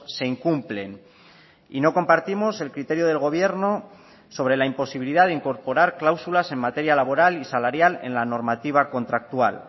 se incumplen y no compartimos el criterio del gobierno sobre la imposibilidad de incorporar cláusulas en materia laboral y salarial en la normativa contractual